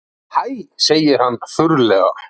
Hæ, segir hann þurrlega.